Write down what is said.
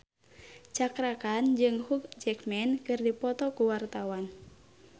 Cakra Khan jeung Hugh Jackman keur dipoto ku wartawan